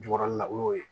Jukɔrɔla la o y'o ye